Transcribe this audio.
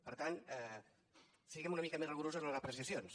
per tant siguem una mica més rigorosos amb les apreciacions